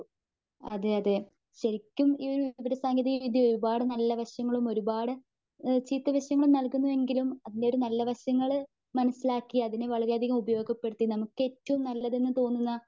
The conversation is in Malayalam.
അതെയതെ ശരിക്കും ഈയൊരു വിവരസാങ്കേതികവിദ്ര്യ ഒരുപാട് നല്ല വശങ്ങളും, ഒരുപാട് ചീത്ത വശങ്ങളും നൽകുന്നു എങ്കിലും അതിന്റെയൊരു നല്ല വശങ്ങള് മനസിലാക്കി അതിനെ വളരെയതികം ഉപയോഗപ്പെടുത്തി നമുക്ക് ഏറ്റവും നല്ലതെന്ന് തോന്നുന്ന